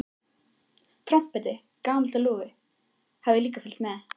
Trompetið, gamalt og lúið, hafði líka fylgt með.